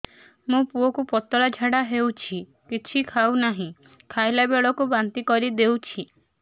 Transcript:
ମୋ ପୁଅ କୁ ପତଳା ଝାଡ଼ା ହେଉଛି କିଛି ଖାଉ ନାହିଁ ଯାହା ଖାଇଲାବେଳକୁ ବାନ୍ତି କରି ଦେଉଛି